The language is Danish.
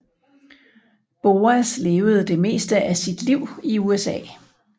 Boas levede det meste af sit liv i USA